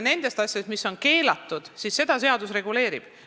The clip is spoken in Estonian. Neid asju, mis on keelatud, seadus reguleerib.